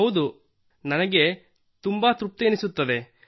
ಹೌದು ನನಗೆ ತುಂಬಾ ತೃಪ್ತಿ ಎನಿಸುತ್ತದೆ